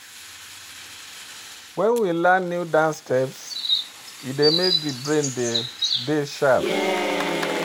when we learn new dance steps e dey make di brain de dey sharp